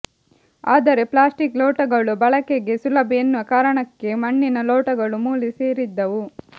ಆದ್ರೆ ಪ್ಲಾಸ್ಟಿಕ್ ಲೋಟಗಳು ಬಳಕೆಗೆ ಸುಲಭ ಎನ್ನುವ ಕಾರಣಕ್ಕೆ ಮಣ್ಣಿನ ಲೋಟಗಳು ಮೂಲೆ ಸೇರಿದ್ದವು